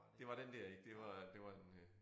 Det var den der ikke det var det var en øh